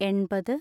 എൺപത്